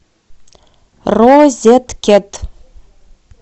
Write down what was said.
розеткед